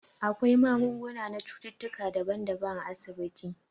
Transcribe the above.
Akwai magunguna na cututtuka daban daban a asibiti